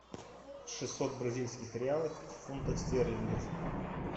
шестьсот бразильских реалов в фунтах стерлингов